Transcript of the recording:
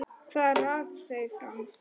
Hvað rak þau áfram?